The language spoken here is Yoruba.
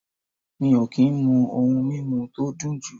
Mi o ki n mu oun mimu to dun ju